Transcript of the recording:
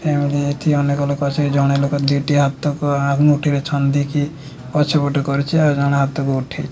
ଏଠି ଅନେକ ଲୋକ ଅଛନ୍ତି ଜଣେ ଲୋକ ଯିଏକି ହାତକୁ ଆଙ୍ଗୁଠିରେ ଛନ୍ଦିକି ପଛପଟକୁ କରିଛି ଆଉ ଜଣେ ହାତକୁ ଉଠେଇ --